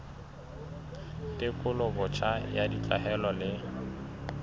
tekolo botjha ya ditlwaelo le